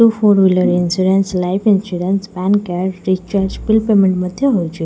Insurance life insurance PAN card recharge bill payment ମଧ୍ୟ ହୋଉଛି।